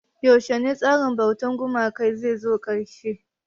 Yaushe tsarin bautar gumaka zai zo ƙarshe?